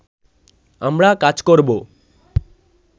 আমরা কাজ করব